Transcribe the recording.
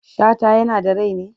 Shata yana da rai ne?